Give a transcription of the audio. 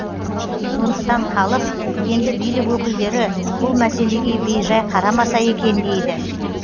сондықтан халық енді билік өкілдері бұл мәселеге бейжай қарамаса екен дейді